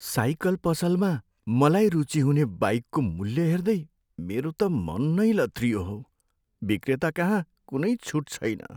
Cycle पसलमा मलाई रुचि हुने बाइकको मूल्य हेर्दै मेरो त मन नै लत्रियो हौ। विक्रेताकहाँ कुनै छुट छैन।